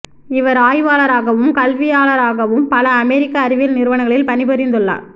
இவர் ஆய்வாளராகவும் கல்வியாளராகவும் பல அமெரிக்க அறிவியல் நிறுவனங்களில் பணிபுரிந்துள்ளார்